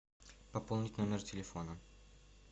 пополнить номер телефона